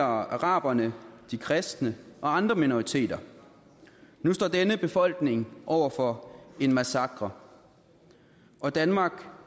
araberne de kristne og andre minoriteter nu står denne befolkning over for en massakre og danmark